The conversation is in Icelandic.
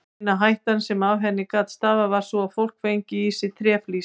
Eina hættan sem af henni gat stafað var sú að fólk fengi í sig tréflís.